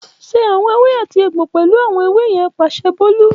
Ṣe awọn ewé àti egbo pẹlu awọn ewe yẹn “Paṣẹ Bolu”